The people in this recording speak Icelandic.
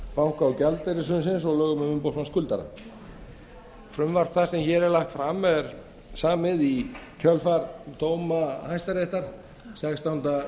banka og gjaldeyrishrunsins og lögum um umboðsmann skuldara frumvarp það sem hér er lagt fram er samið í kjölfar dóma hæstaréttar sextánda